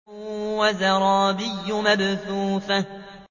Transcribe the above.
وَزَرَابِيُّ مَبْثُوثَةٌ